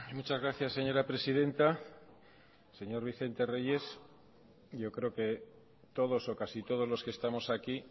muchas gracias señora presidenta señor vicente reyes yo creo que todos o casi todos los que estamos aquí